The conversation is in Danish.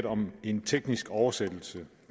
om en teknisk oversættelse